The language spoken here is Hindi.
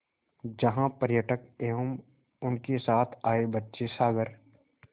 जहाँ पर्यटक एवं उनके साथ आए बच्चे सागर